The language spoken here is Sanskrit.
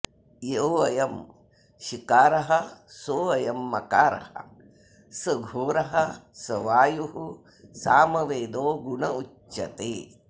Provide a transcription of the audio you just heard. योऽयं शिकारः सोऽयं मकारः स घोरः स वायुः सामवेदो गुण उच्यते